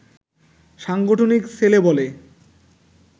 সাংগঠনিক ছেলে বলে